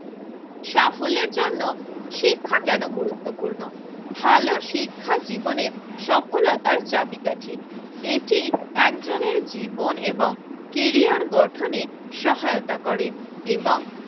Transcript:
সাফল্যের জন্য শিক্ষা কেন গুরুত্বপূর্ণ? ভালো শিক্ষা জীবনের সফলতার চাবিকাঠি এটি একটি জীবন এবং ক্যারিয়ার গঠনে সহায়তা করে এবং